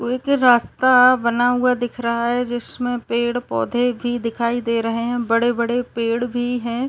एक रास्ता बना हुआ दिख रहा हैं जिसमें पेड़-पौधे भी दिखाई दे रहे हैं। बड़े-बड़े पेड़ भी हैं।